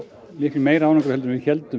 meiri árangri en við héldum